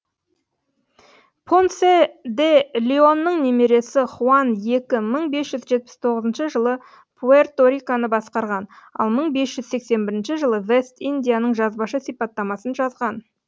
понсе де леонның немересі хуан екі мың бес жүз жетпіс тоғызыншы жылы пуэрто риконы басқарған ал мың бес жүз сексен бірінші жылы вест индияның жазбаша сипаттамасын жазған